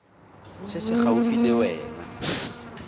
se se gaufi le wena